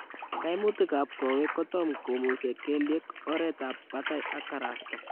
Kaimutik ab koweek kotam komusee kelyek, oreet ab batai ak karasta